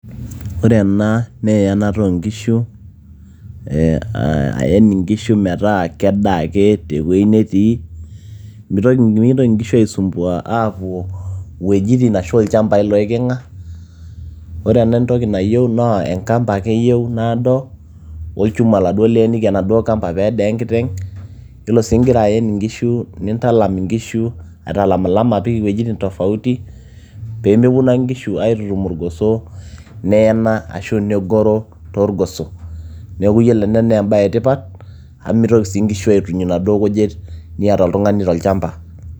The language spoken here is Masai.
ore ena naa eyanata oonkishu ee ayen inkishu metaa kedaa ake tewueji netii mitoki, mikintoki inkishu aisumbua aapuo iwuejitin ashu ilchambai loiking'a ore ena entoki nayieu naa enkampa ake eyieu naado olchuma oladuo liyeniki enaduo kampa peeda enkiteng yiolo sii ingira ayen inkishu nintalam inkishu aitalamilam apik iwuejitin tofauti pee meponu ake inkishu aitutum irgoso neena ashu negoro toorgoso neeku yiolo ena naa embaye etipat amu mitoki sii inkishu aituny inaduo kujit niata tolchamba.